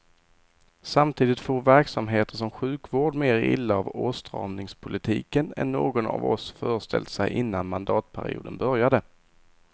Samtidigt for verksamheter som sjukvård mer illa av åtstramningspolitiken än någon av oss föreställt sig innan mandatperioden började.